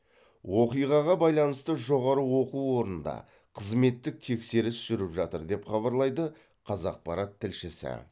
оқиғаға байланысты жоғары оқу орнында қызметтік тексеріс жүріп жатыр деп хабарлайды қазақпарат тілшісі